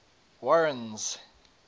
warren's